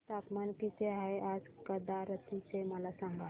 तापमान किती आहे आज कवारत्ती चे मला सांगा